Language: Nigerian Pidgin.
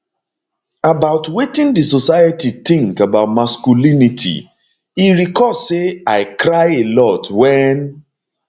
about wetin di society tink about masculinity e recall say i cry a lot wen